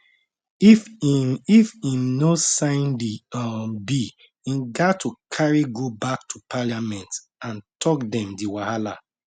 if im if im no sign di um bill im gat to carry go back to parliament and tok dem di wahala